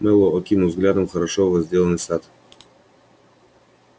мэллоу окинул взглядом хорошо возделанный сад